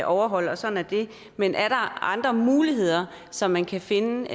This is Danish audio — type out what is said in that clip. overholde og sådan er det men er der andre muligheder så man kan finde